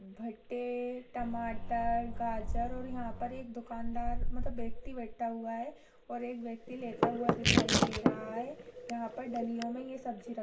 भट्टे टमाटर गाजर और यहाँ पर एक दुकानदार मतलब एक व्यक्ति भी बैठा हुआ है और एक व्यक्ति लेता हुआ दिखाई दे रहा है यहाँ पर डलियों में ये सब्जी रखी --